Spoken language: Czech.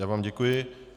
Já vám děkuji.